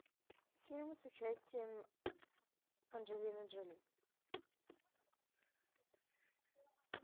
фильмы с участием анджелины джоли